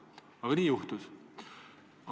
Aga nii juhtus.